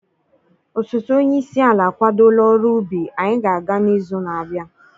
osote onye isi ala akwadola ọrụ ubi, anyị ga-aga n'izu na-abịa.